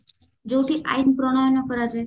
ଯୋଉଠି ଆଇନ ପ୍ରଣୟନ କରାଯାଏ